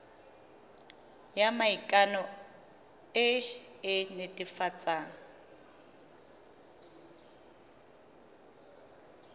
ya maikano e e netefatsang